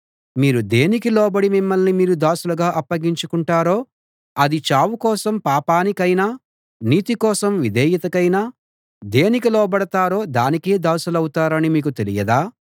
మీరు దేనికి లోబడి మిమ్మల్ని మీరు దాసులుగా అప్పగించుకొంటారో అది చావు కోసం పాపానికైనా నీతి కోసం విధేయతకైనా దేనికి లోబడతారో దానికే దాసులౌతారని మీకు తెలియదా